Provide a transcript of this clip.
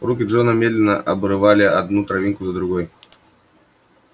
руки джона медленно обрывали одну травинку за другой